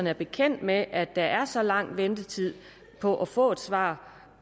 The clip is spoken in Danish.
er bekendt med at der er så lang ventetid på at få et svar